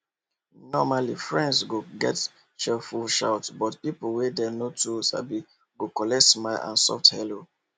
normally friends go get cheerful shout but people wey dem no too sabi go collect smile and soft hello